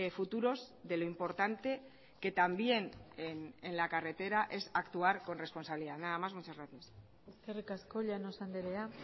futuros de lo importante que también en la carretera es actuar con responsabilidad nada más muchas gracias eskerrik asko llanos andrea